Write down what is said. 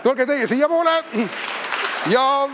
Tulge teie siiapoole!